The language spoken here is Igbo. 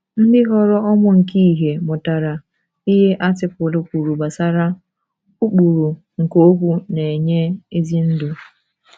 Ndị ghọrọ ụmụ nke ìhè mụtara ihe artịkụlụ kwuru gbasara “ ụkpụrụ nke okwu na - enye ezi ndụ ”